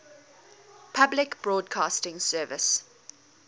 public broadcasting service